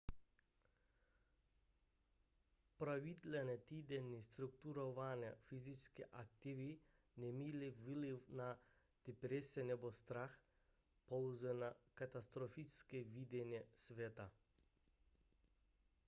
pravidelné týdenní strukturované fyzické aktivity neměly vliv na deprese nebo strach pouze na katastrofické vidění světa